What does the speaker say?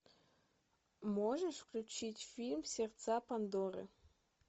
можешь включить фильм сердца пандоры